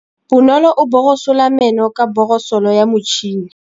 Bonolô o borosola meno ka borosolo ya motšhine.